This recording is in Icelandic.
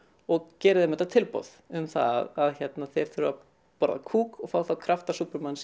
og gerir þeim þetta tilboð um það að þeir þurfi að borða kúk og fái þá krafta